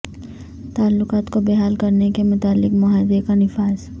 تعلقات کو بحال کرنے کے متعلق معاہدے کا نفاذ